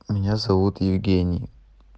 меня зовут евгений